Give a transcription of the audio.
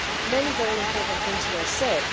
Many very important things were said.